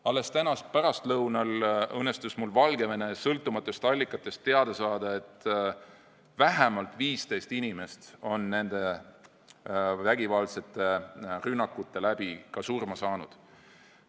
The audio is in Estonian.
Alles täna pärastlõunal õnnestus mul Valgevene sõltumatutest allikatest teada saada, et vähemalt 15 inimest on nende vägivaldsete rünnakute tõttu ka surma saanud.